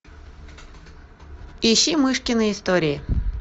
ищи мышкины истории